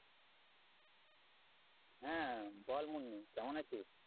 হ্যাঁ। বল মুন্নি কেমন আছিস?